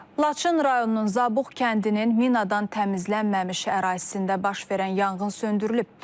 Laçın rayonunun Zabux kəndinin minadan təmizlənməmiş ərazisində baş verən yanğın söndürülüb.